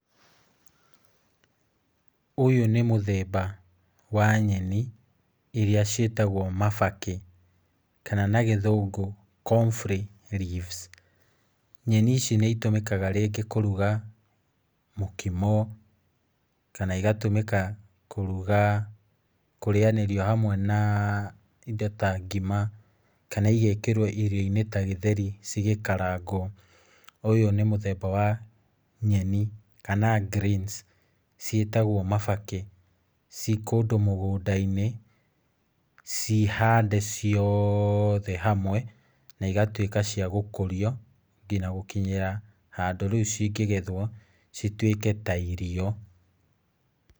Ũyũ nĩ mũthemba wa nyeni iria ciĩtagwo mabakĩ, kana nagĩthũngũ confry leaves. Nyeni ici nĩitũmĩkaga rĩngĩ kũruga mũkimo, kana igatũmĩka kũruga, kũrĩanĩrio hamwe na indo ta ngima, kana igekĩrwo irio-inĩ tagĩtheri cigĩkaragwo. Ũyũ nĩ mũthemba wa nyeni, kana greens, ciĩtagwo mabakĩ, ciĩkũndũ mũgũnda-ĩnĩ ciĩhande ciothe hamwe, na cigatuĩka cia gũkũrio, nginya gũkinyĩra handũ riu cingĩgethwo, cituĩke ta irio.